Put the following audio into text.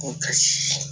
Ko ka